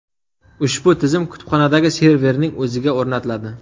Ushbu tizim kutubxonadagi serverning o‘ziga o‘rnatiladi.